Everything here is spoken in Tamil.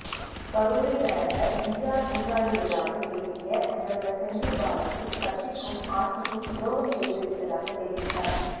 கரூரில் நடந்த எம்ஜிஆர் நூற்றாண்டு விழாவில் பேசிய முதல்வர் செந்தில் பாலாஜி கட்சிக்கும் ஆட்சிக்கும் துரோகம் செய்துவிட்டதாக தெரிவித்தார்